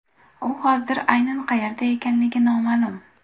U hozir aynan qayerda ekanligi noma’lum.